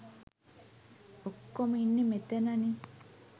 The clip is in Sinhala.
ඔක්කෝම ඉන්නේ මෙතනනේ.